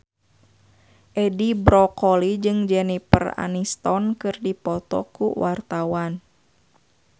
Edi Brokoli jeung Jennifer Aniston keur dipoto ku wartawan